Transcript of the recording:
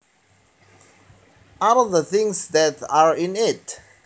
are the things that are in it